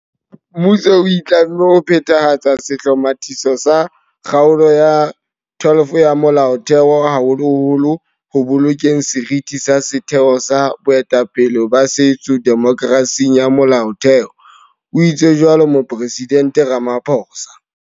Mmuso o itlamme ho phethahatsa sehlomathiso sa Kgaolo ya 12 ya Molaothe ho, haholoholo ho bolokeng seriti sa setheo sa boetapele ba setso demokerasing ya Molaotheho, o itse jwalo Moporesidente Ramaphosa.